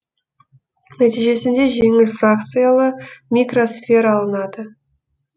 нәтижесінде жеңіл фракциялы микросфера алынады